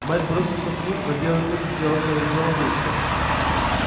мэтт бросился к ним но белый клык сделал своё дело быстро